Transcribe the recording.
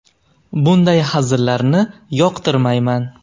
Bunday hazillarni yoqtirmayman.